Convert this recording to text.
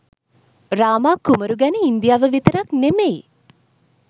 රාමා කුමරු ගැන ඉන්දියාව විතරක් නෙමෙයි